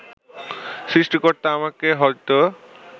সৃষ্টিকর্তা আমাকে হয়তো